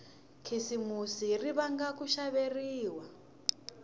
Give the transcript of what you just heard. khisimusi ri vanga ku xaveriwa